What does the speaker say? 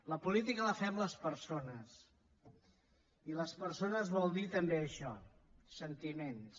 la política la fem les persones i les persones vol dir també això sentiments